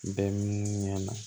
Bɛn ɲɛ na